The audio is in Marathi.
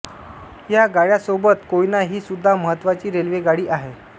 या गाड्यांसोबत कोयना ही सुद्धा महत्त्वाची रेल्वेगाडी आहे